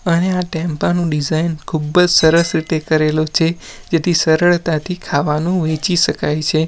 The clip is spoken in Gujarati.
અને આ ટેમ્પા નું ડિઝાઇન ખૂબજ સરસ રીતે કરેલું છે જેથી સરળતાથી ખાવાનું વેચી શકાય છે.